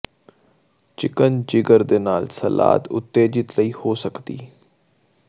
chicken ਜਿਗਰ ਦੇ ਨਾਲ ਸਲਾਦ ਉਤੇਜਿਤ ਲਈ ਹੋ ਸਕਦੀ